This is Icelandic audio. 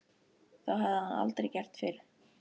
Það hafði hann aldrei gert fyrr.